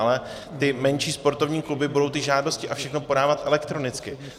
Ale ty menší sportovní kluby budou ty žádosti a všechno podávat elektronicky.